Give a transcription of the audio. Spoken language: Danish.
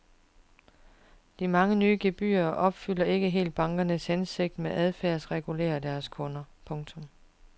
De mange nye gebyrer opfylder ikke helt bankernes hensigt om at adfærdsregulere deres kunder. punktum